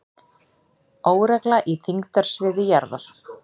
Óregla í þyngdarsviði jarðar